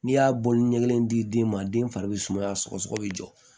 N'i y'a bɔli ɲɛ kelen di den ma den fari be sumaya sɔgɔsɔgɔ be jɔ